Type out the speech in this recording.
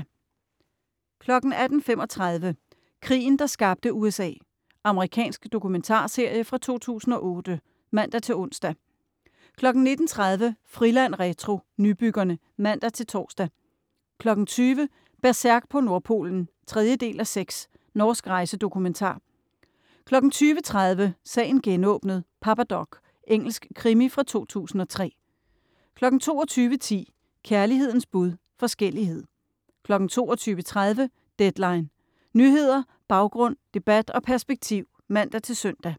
18.35 Krigen, der skabte USA. Amerikansk dokumentarserie fra 2008 (man-ons) 19.30 Friland retro - Nybyggerne (man-tors) 20.00 Berserk på Nordpolen 3:6. Norsk rejsedokumentar 20.30 Sagen genåbnet: Papa Doc. Engelsk krimi fra 2003 22.10 Kærlighedens bud - forskellighed 22.30 Deadline. Nyheder, baggrund, debat og perspektiv (man-søn)